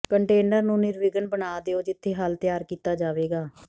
container ਨੂੰ ਨਿਰਵਿਘਨ ਬਣਾ ਦਿਓ ਜਿੱਥੇ ਹੱਲ ਤਿਆਰ ਕੀਤਾ ਜਾਵੇਗਾ